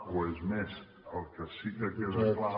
o és més el que sí que queda clar